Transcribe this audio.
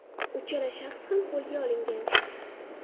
Uchala shaxs ham qo‘lga olingan.